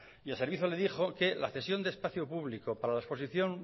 y el servicio le dijo que la cesión de espacio público para la exposición